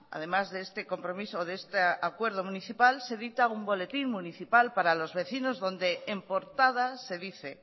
además de este compromiso de este acuerdo municipal se dicta un boletín municipal para los vecinos donde en portada se dice